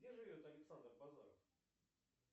где живет александр базаров